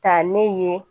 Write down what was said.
Taa ne ye